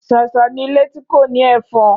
Ṣàṣà ni ilé tí kò ní Ẹ̀fan.